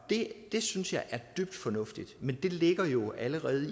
det synes jeg er dybt fornuftigt men det ligger jo allerede